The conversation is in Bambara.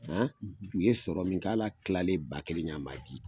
U ye sɔrɔ min kɛ hali a kilalen ba kelen kɛ a man di.